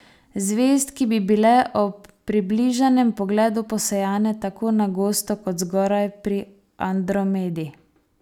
Zvezd, ki bi bile ob približanem pogledu posejane tako na gosto kot zgoraj pri Andromedi.